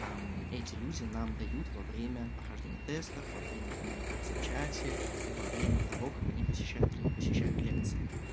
а эти люди нам дают во время прохождения тестов вовремя коммуникации в чате и во время того как они посещают или не посещают лекции